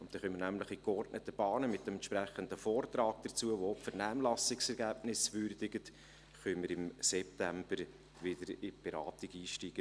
So können wir nämlich in geordneten Bahnen mit dem entsprechenden Vortrag dazu, der auch die Vernehmlassungsergebnisse würdigt, im September wieder miteinander in die Beratung einsteigen.